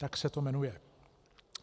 Tak se to jmenuje.